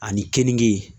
Ani keninke